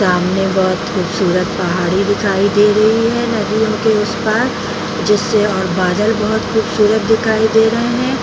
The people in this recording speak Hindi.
सामने बहुत खूबसूत पहाड़ी दिखाई दे रही है नदी के उस पार जिससे और बादल बहुत खूबसूरत दिखाई दे रहे है ।